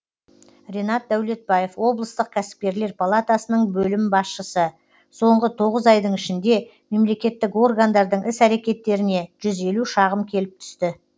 ринат дәулетбаев облыстық кәсіпкерлер палатасының бөлім басшысы соңғы тоғыз айдың ішінде мемлекеттік органдардың іс әрекеттеріне жүз елу шағым келіп түсті